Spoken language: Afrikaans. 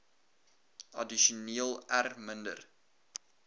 addisioneel r minder